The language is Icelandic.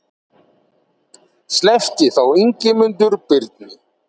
Sleppti þá Ingimundur Birni.